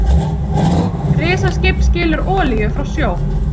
Risaskip skilur olíu frá sjó